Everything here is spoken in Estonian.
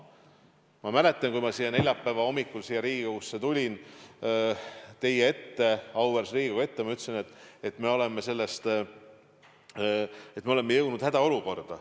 Ma mäletan, kui ma neljapäeva hommikul siia Riigikogusse, siia auväärse Riigikogu ette tulin, siis ma ütlesin, et meil on käes hädaolukord.